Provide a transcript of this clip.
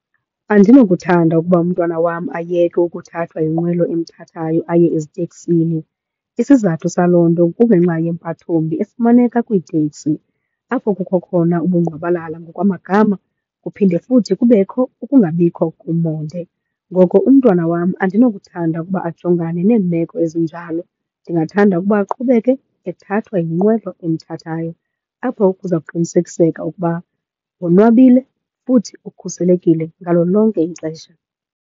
Andinokuthanda ukuba umntwana wam ayeke ukuthathwa yinqwelo emthathayo aye eziteksini. Isizathu saloo nto kungenxa yempathombi efumaneka kwiitekisi apho kukho khona ubungqwabalala ngokwamagama kuphinde futhi kubekho ukungabikho komonde. Ngoko umntwana wam andinokuthanda ukuba ajongane neemeko ezinjalo. Ndingathanda ukuba aqhubeke ethathwa yinqwelo emthathayo apho kuza kuqinisekiseka ukuba wonwabile futhi ukhuselekile ngalo lonke ixesha.